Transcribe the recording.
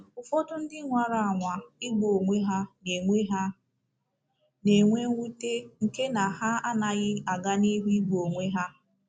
Ụfọdụ ndị nwara anwa igbu onwe ha na-enwe ha na-enwe mwute nke na ha anaghị a ga n'ihu igbu onwe ha.